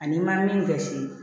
Ani ma min gɛn si